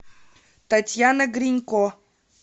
татьяна гринько